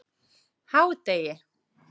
hádegi